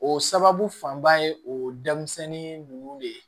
O sababu fanba ye o denmisɛnnin ninnu de ye